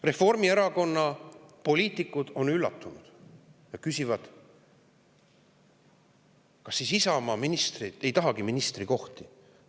Reformierakonna poliitikud on üllatunud ja küsivad: "Kas siis Isamaa ministrid ei tahagi ministrikohti?